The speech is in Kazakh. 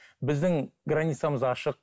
біздің границамыз ашық